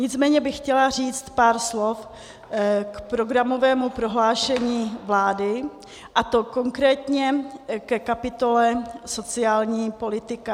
Nicméně bych chtěla říct pár slov k programovému prohlášení vlády, a to konkrétně ke kapitole sociální politika.